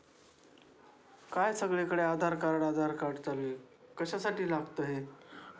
का सगळी कडे आधार कार्ड आधार कार्ड चालू आहे कशा साठी लागतंय हे?